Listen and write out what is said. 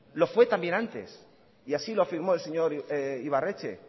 lo fue también antes y así lo afirmó el señor ibarretxe